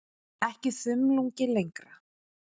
Ekki þumlungi lengra.